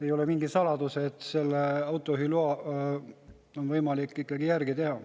Ei ole mingi saladus, et autojuhiluba on võimalik järgi teha.